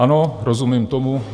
Ano, rozumím tomu.